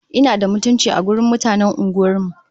Ina da mutunci a wajen mutanen unguwar mu!